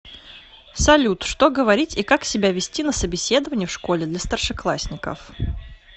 салют что говорить и как себя вести на собеседовании в школе для старшеклассников